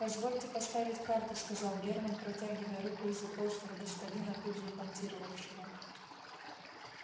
позвольте поставить карту сказал германн протягивая руку из-за толстого господина тут же понтировавшего